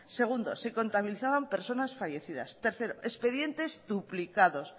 segundo se contabilizaban personas fallecidas tercero expedientes duplicados